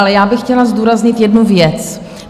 Ale já bych chtěla zdůraznit jednu věc.